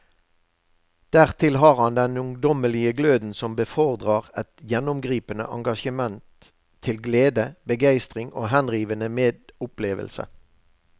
Dertil har han den ungdommelige gløden som befordrer et gjennomgripende engasjement til glede, begeistring og henrivende medopplevelse.